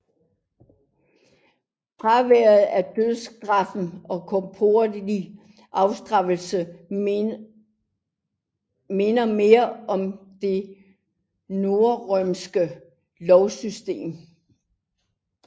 Fraværet af dødsstraf og korporlig afstraffelse minder mere om det norrøne lovsystem